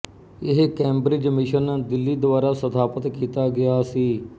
ਇਹ Cambridge mission Delhi ਦੁਆਰਾ ਸਥਾਪਤ ਕੀਤਾ ਗਿਆ ਸੀ